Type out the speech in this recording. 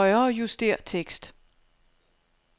Højrejuster tekst.